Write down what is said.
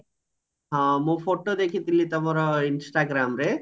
ହଁ ମୁ photo ଦେଖିଥିଲି ତମର instagramରେ